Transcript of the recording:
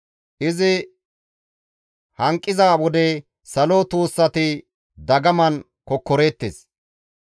Izi hanqiza wode salo tuussati dagaman kokkoreettes.